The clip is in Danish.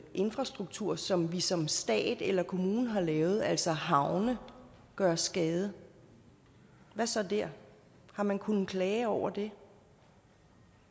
infrastruktur som vi som stat eller kommune har lavet altså havne gøre skade hvad så dér har man kunnet klage over det